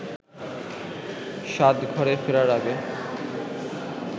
সাজঘরে ফেরার আগে